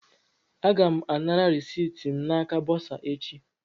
Aga m anara reciiti m n'aka bọsa echi